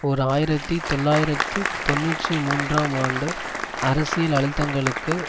ஓர் ஆயிரத்தி தொள்ளாயிரத்து தொன்னூற்றி மூன்றாம் ஆண்டு அரசியல் அழுத்தங்களுக்கு